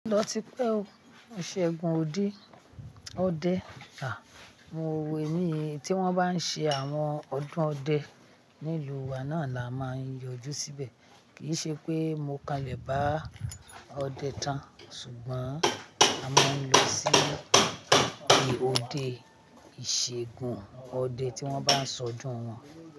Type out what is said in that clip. O ti pẹ́, ìṣẹ́gun òde ọdẹ, à, mo wò ó ní, tí wọ́n bá ń ṣe àwọn ọdún ọdẹ nílùú wa náà là máa n yọjú síbẹ̀. Kì í ṣe pé mo kanlẹ̀ bá ọdẹ tán, ṣùgbọ́n a máa ń lọ sí ibi òde ìṣegun ọdẹ tí wọ́n bá ń ṣọdún wọ́n.